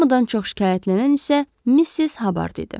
Hamıdan çox şikayətlənən isə Missis Habard idi.